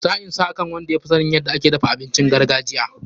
Sa'in san akan wadda ya fi sanin yadda ake dafa abincin gargajiya.